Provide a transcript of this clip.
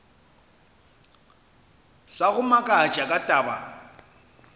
sa go makatša ka taba